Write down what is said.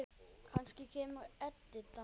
Kannski kemur Edita.